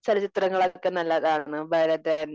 ചലച്ചിത്രങ്ങൾ ഒക്കെ നല്ലതാണ്. ഭരതൻ